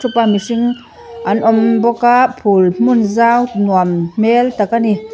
an awm bawk a phul hmun zau nuam hmel tak ani.